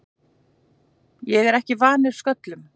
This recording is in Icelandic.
Ég er ekki vanur sköllum.